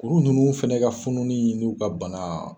Kuru ninnu fana ka funuli n'u ka bana